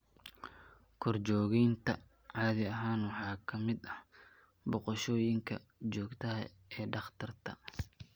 Korjoogteynta caadi ahaan waxaa ka mid ah booqashooyinka joogtada ah ee dhakhtarka.